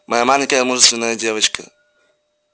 моя маленькая мужественная девочка